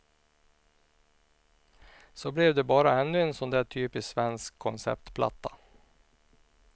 Så blev det bara ännu en sån där typiskt svensk konceptplatta.